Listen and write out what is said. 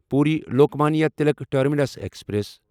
Puri Lokmanya Tilak terminus express